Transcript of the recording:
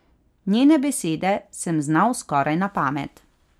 Njene besede sem znal skoraj na pamet.